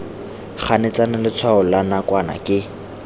ganetsana letshwao la nakwana ke